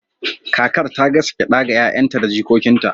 kakar ta gasa gyada ga 'ya'yanta da jikokinta